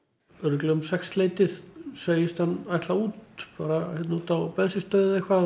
örugglega um sex leytið segist hann ætla út bara hérna út á bensínstöð eða eitthvað